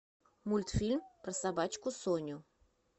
мультфильм про собачку соню